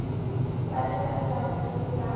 ba lebella le ho ba